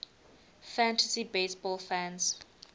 fantasy baseball fans